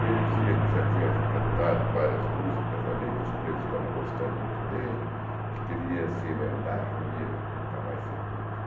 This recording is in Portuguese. E ele dizia que já tinha cantado várias músicas ali, que os presos estavam gostando muito dele, e que ele ia se emendar, não ia nunca mais ser preso.